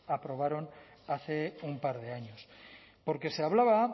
aprobaron hace un par de años porque se hablaba